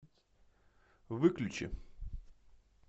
выключи